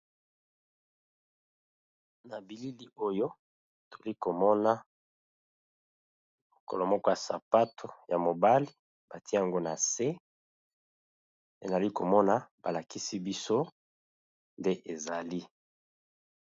Na bilili oyo toli komona lokolo moko ya sapato ya mobali batie yango na se, enali komona ba lakisi biso nde ezali.